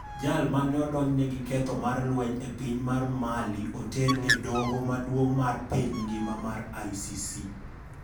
Jal mane odonjne gi ketho mar lweny e piny mar Malioter e doo maduong' mar piny ngima mar ICC.